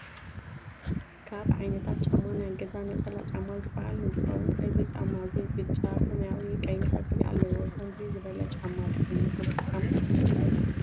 ካብ ዓይነታት ጫማ ናይ ገዛ ነፀላ ጫማ ዝበሃል እተከውንእዚ ጫማ እዚ ብጫ ፣ሰማያዊ ፣ቀይሕ ሕብሪ ኣለዎ። ከምዙይ ዝበለ ጫማ ዲኩም ትጥቀሙ?